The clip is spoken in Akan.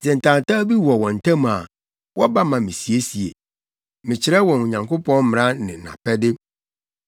Sɛ ntawntaw bi ba wɔn ntam a, wɔba ma misiesie. Mekyerɛ wɔn Onyankopɔn mmara ne nʼapɛde.”